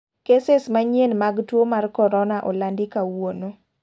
keses manyien mag tuo mar korona olandi kawuono.